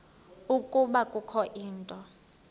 ukuba kukho into